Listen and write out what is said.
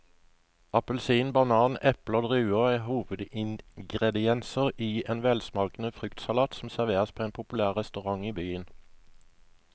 Appelsin, banan, eple og druer er hovedingredienser i en velsmakende fruktsalat som serveres på en populær restaurant i byen.